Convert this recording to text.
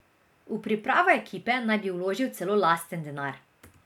V pripravo ekipe naj bi vložil celo lasten denar.